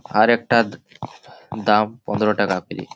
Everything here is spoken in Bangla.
আর একটা ডাব পরনের টাকা করে ।